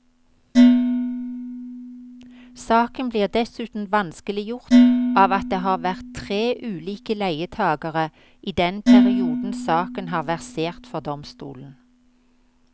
Saken blir dessuten vanskeliggjort av at det har vært tre ulike leietagere i den perioden saken har versert for domstolen.